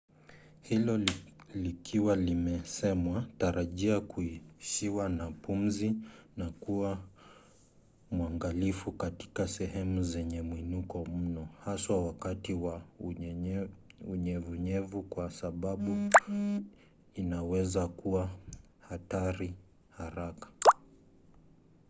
hilo likiwa limesemwa tarajia kuishiwa na pumzi na kuwa mwangalifu katika sehemu zenye mwinuko mno haswa wakati wa unyevunyevu kwa sababu inaweza kuwa hatari haraka